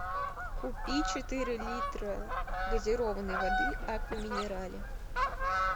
купи четыре литра газированной воды аква минерале